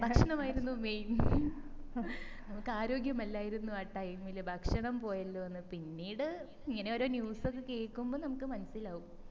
ഭക്ഷണം ആയിരുന്നു main നമ്മക്ക് ആരോഗ്യമല്ലായിരുന്നു ആ time ഇൽ ഭക്ഷണം പോയല്ലോന്ന് പിന്നീട് ഇങ്ങനെ ഓരോ news ഒക്കെ കേക്കുമ്പോ നമ്മക്ക് മനസ്സിലാകും